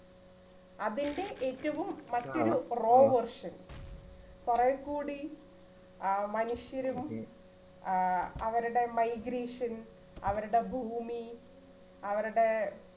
അതിൻറെ ഏറ്റവും മധ്യരൂ pro version കുറെക്കൂടി ആ മനുഷ്യരും ആ അവരുടെ migration അവരുടെ ഭൂമി അവരുടെ